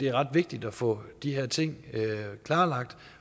er ret vigtigt at få de her ting klarlagt